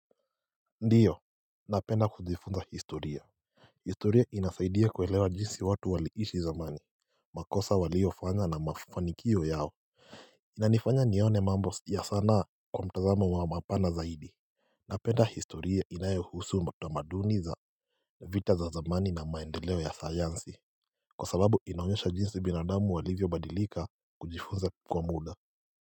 Ndiyo, napenda kujifunza historia historia inasaidia kuelewa jinsi watu waliishi zamani makosa waliofanya na mafanikiyo yao Inanifanya nione mambo ya sana kwa mtazamo wa mapana zaidi Napenda historia inayeuhusu tamaduni za vita za zamani na maendeleo ya sayansi Kwa sababu inaonyesha jinsi binadamu walivyo badilika kujifunza kwa muda.